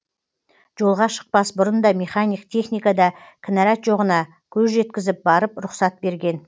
жолға шықпас бұрын да механик техникада кінәрат жоғына көз жеткізіп барып рұқсат берген